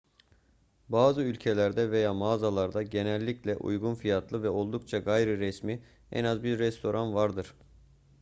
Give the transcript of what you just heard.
bazı ülkelerde veya mağazalarda genellikle uygun fiyatlı ve oldukça gayriresmi en az bir restoran vardır